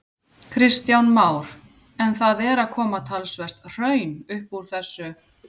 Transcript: Kristján Már: En það er að koma talsvert hraun upp úr þessu?